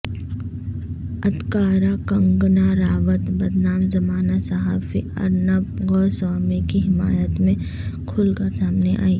ادکارہ کنگنا رناوت بدنام زمانہ صحافی ارنب گوسوامی کی حمایت میں کھل کر سامنے ائی